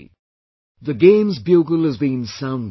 "The games bugle's been sounded